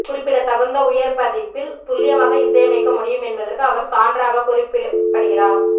குறிப்பிடத்தகுந்த உயர் பதிப்பில் துல்லியமாக இசையமைக்க முடியும் என்பதற்கு அவர் சான்றாகக் குறிப்பிடப்படுகிறார்